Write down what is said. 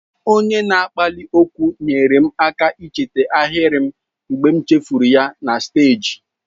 Onye na-akpali okwu nyeere m aka icheta ahịrị m mgbe m chefuru ya na steeji.